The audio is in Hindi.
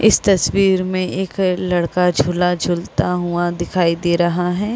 इस तस्वीर में एक अ लड़का झूला झूलता हुआ दिखाई दे रहा है।